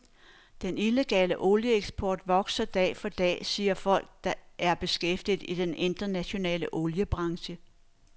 Den illegale olieeksport vokser dag for dag, siger folk, der er beskæftiget i den internationale oliebranche.